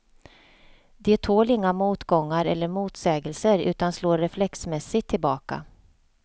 De tål inga motgångar eller motsägelser utan slår reflexmässigt tillbaka.